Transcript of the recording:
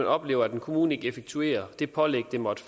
oplever at en kommune ikke effektuerer det pålæg den måtte